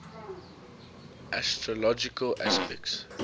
astrological aspects